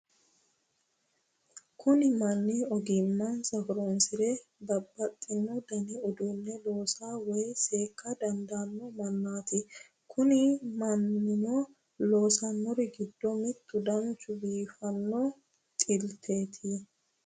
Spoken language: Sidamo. kuni manni ogimmansa horonsire babbadhino dani uduune loosa woye seekka dandaanno manaati kuni mannino loosannori giddo mittu dancha biifanno dhilteeti.